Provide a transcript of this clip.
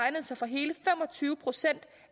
tyve procent